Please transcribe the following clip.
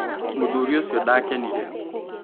Mũthuri ũcio ndakenire.